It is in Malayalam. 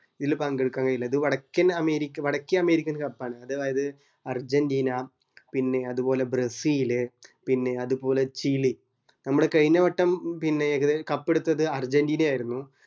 ഇതില് പങ്കെട്ക്കാൻ കയ്യിലെ ഇത് വടക്കൻ അമേരിക് വടക്കേ അമേരിക്കൻ cup ആണ് അതായത് അർജന്റീന പിന്നെ അത്പോലെ ബ്രസീല് പിന്നെ അത്പോലെ ചിലി നമ്മുടെ കൈഞ്ഞ വട്ടം പിന്നേ എക cup എടുത്തത് അർജന്റീന ആയിരുന്നു